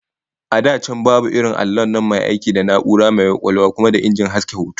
A da can babu irin allon nan mai aiki da na'ura mai kwakwalwa kuma da injin haska hoto